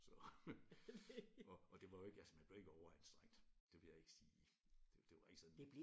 Så og og det var jo ikke man blev jo ikke overanstrengt det vil jeg ikke sige det det var ikke sådan